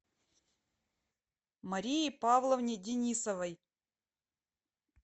марии павловне денисовой